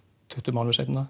tuttugu mánuðum seinna